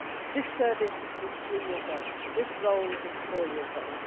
This service is three years old and this role is four years old.